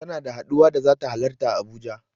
Tana da haɗuwa da zata halarta a Abuja.